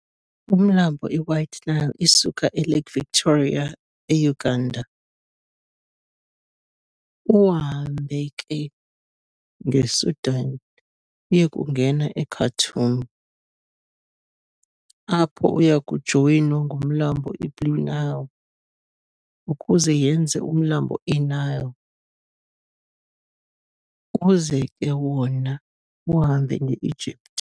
Umlambo i-White Nile isuka eLake Victoria e-Uganda, uhambe ke nge-Sudan uyekungena e-Khartoum, apho uyakujoyinwa ngumlambo i-Blue Nile ukuze yenze umlambo i-Nile, uze ke ngoku wona uhambe nge-Egypt.